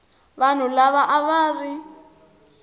vanhu lava a va ri